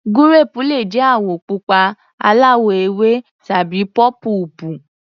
Gúréèpù le jẹ́ àwọ̀ pupa, aláwọ̀-ewé tàbí pọ́púùpù.